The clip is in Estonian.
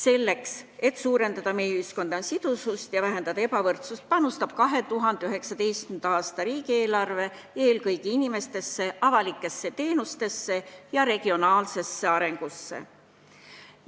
Selleks, et suurendada meie ühiskonna sidusust ja vähendada ebavõrdsust, panustab 2019. aasta riigieelarve eelkõige inimestesse, avalikesse teenustesse ja regionaalsesse arengusse.